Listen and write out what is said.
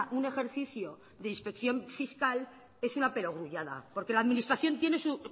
un ejercicio de inspección fiscal es una perogrullada porque la administración tiene su